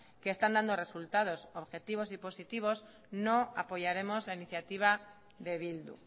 que están dando resultados objetivos y positivos no apoyaremos la iniciativa de bildu